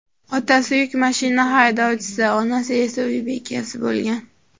Otasi yuk mashina haydovchisi, onasi esa uy bekasi bo‘lgan.